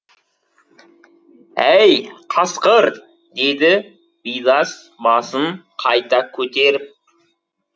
әй қасқыр деді бидас басын қайта көтеріп